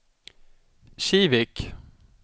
Kivik